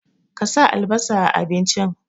Ka sa albasa a abincin!